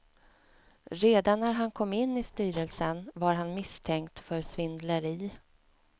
Redan när han kom in i styrelsen var han misstänkt för svindleri.